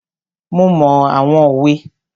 Mo mọ àwọn òwe.